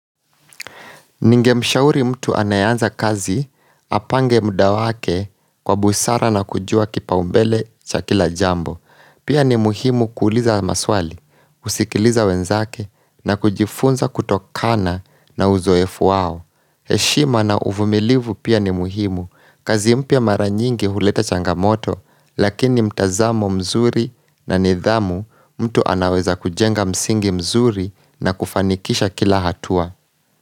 Ningemshauri mtu anayeanza kazi, apange muda wake kwa busara na kujua kipaumbele cha kila jambo. Pia ni muhimu kuuliza maswali, kusikiliza wenzake na kujifunza kutokana na uzoefu wao. Heshima na uvumilivu pia ni muhimu, kazi mpya mara nyingi huleta changamoto, lakini mtazamo mzuri na nidhamu mtu anaweza kujenga msingi mzuri na kufanikisha kila hatua.